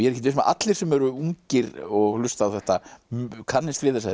ekkert viss um að allir sem eru ungir og hlusta á þetta kannist við